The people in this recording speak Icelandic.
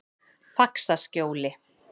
Faxaskjóli